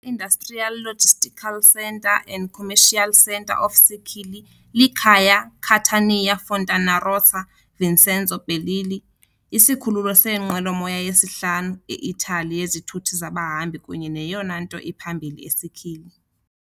I-industrial, logistical centre and commercial center of Sicily, likhaya Catania-Fontanarossa "Vincenzo Bellini" isikhululo seenqwelomoya, yesihlanu e-Italy yezithuthi zabahambi kunye neyona nto iphambili eSicily.